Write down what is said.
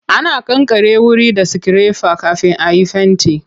Ana kankare wuri da sikirefa kafin a yi fenti.